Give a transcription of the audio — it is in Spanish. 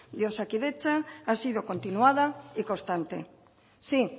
de osakidetza ha sido continuada y constante sí